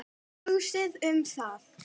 Hugsið um það.